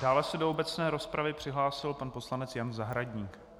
Dále se do obecné rozpravy přihlásil pan poslanec Jan Zahradník.